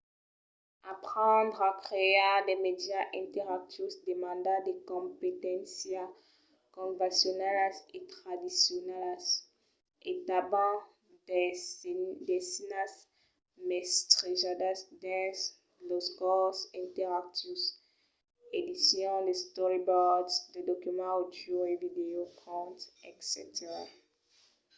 aprendre a crear de mèdias interactius demanda de competéncias convencionalas e tradicionalas e tanben d'aisinas mestrejadas dins los corses interactius edicion de storyboards de documents àudios e vidèos contes etc.